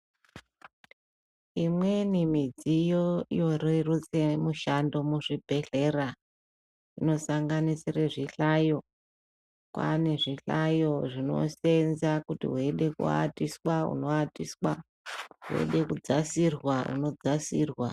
Imweni midziyo yorerutse mishando muzvibhedhlera ,inosanganisire zvihlayo. Kwaane zvihlayo zvinoseenza . Kana weida kuatiswa unoatiswa, weide kudzasirwa unodzasirwa.